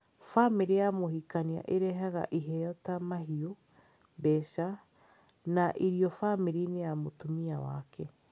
Bamĩrĩ ya mũhikania ĩrehaga iheo ta mahiũ, mbeca, na irio bamĩrĩ-inĩ ya mũtumia wake.